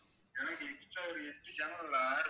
எனக்கு extra ஒரு எட்டு channel add